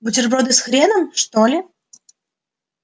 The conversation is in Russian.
бутерброды с хреном что ли